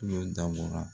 Kulo dabɔra